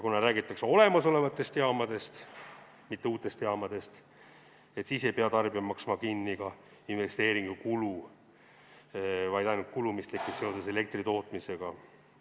Kuna räägitakse olemasolevatest jaamadest, mitte uutest jaamadest, siis ei pea tarbija maksma kinni ka investeeringukulu, vaid ainult kulu, mis tekib seoses elektri tootmisega.